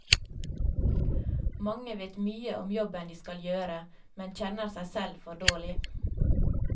Mange vet mye om jobben de skal gjøre, men kjenner seg selv for dårlig.